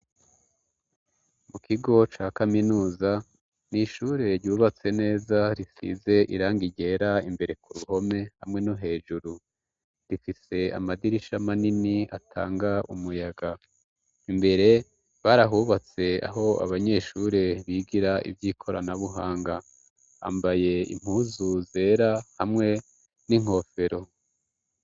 Mu kigo ca kaminuza ni ishure ryubatse neza risize irangi ryera imbere ku ruhome, hamwe no hejuru rifise amadirisha manini atanga umuyaga. imbere barahubatse aho abanyeshure bigira ivy'ikoranabuhanga. Bambaye impuzu zera hamwe n'inkofero.